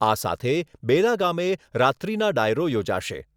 આ સાથે બેલા ગામે રાત્રીના ડાયરો યોજાશે.